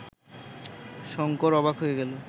শঙ্কর অবাক হয়ে গেল